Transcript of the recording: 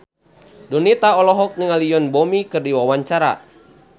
Donita olohok ningali Yoon Bomi keur diwawancara